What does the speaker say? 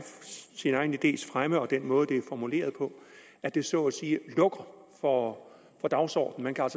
idés fremme og den måde den er formuleret på at det så at sige lukker for dagsordenen man kan